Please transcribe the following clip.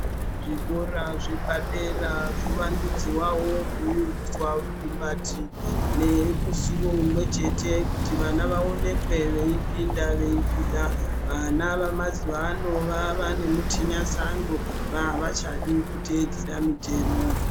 Zvikora zvepadera zvowandudzwawo kuyuiswa rukumbati nemusiwo umwe chete kuti vana vaonekwe veipinda veibuda vana vemazuwa ano vava nemutinya sando vavachadi kuteedzera mutemo.